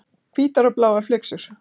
Hvítar og bláar flyksur.